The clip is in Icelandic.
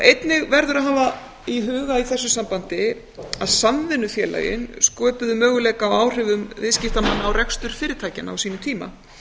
einnig verður að hafa í huga í þessu sambandi að samvinnufélögin sköpuðu möguleika á áhrifum viðskiptamanna á rekstur fyrirtækjanna á sínum tíma